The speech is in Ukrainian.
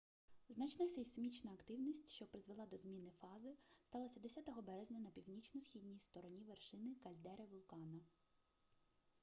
значна сейсмічна активність що призвела до зміни фази сталася 10 березня на північно-східній стороні вершини кальдери вулкана